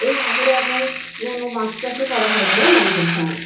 এই পুকুরে আপনার কোন মাছ চাষ ও করা হয় বলে মনে হচ্ছে আমার।